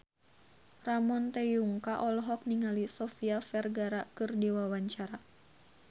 Ramon T. Yungka olohok ningali Sofia Vergara keur diwawancara